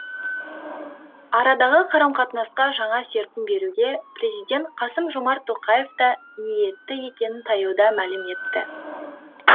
арадағы қарым қатынасқа жаңа серпін беруге президент қасым жомарт тоқаев та ниетті екенін таяуда мәлім етті